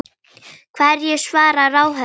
Hverju svarar ráðherra því?